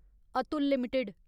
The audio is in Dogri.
अतुल लिमिटेड